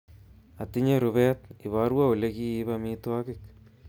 Atinye rubet iborwo olikiib amitwogik